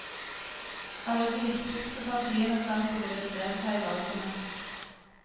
Alle de viktigste partiene sa at de ville delta i valgene.